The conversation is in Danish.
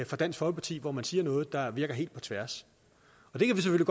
fra dansk folkeparti hvor man siger noget der virker helt på tværs og det kan vi